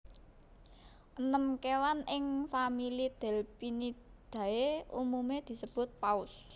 Enem kéwan ing famili Delphinidae umumé disebut paus